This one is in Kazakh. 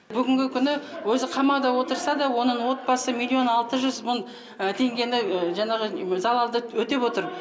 бүгінгі күні өзі қамауда отырса да оның отбасы миллион алты жүз мың теңгені жаңағы залалды өтеп отыр